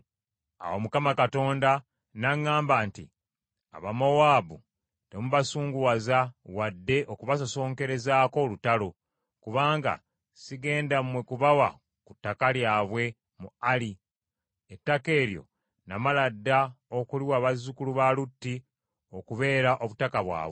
Awo Mukama Katonda n’aŋŋamba nti, “Abamowaabu temubasunguwaza wadde okubasosonkerezaako olutalo, kubanga sigenda mmwe kubawa ku ttaka lyabwe mu Ali, ettaka eryo namala dda okuliwa bazzukulu ba Lutti okubeera obutaka bwabwe.”